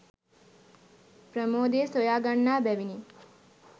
ප්‍රමෝදය සොයා ගන්නා බැවිනි.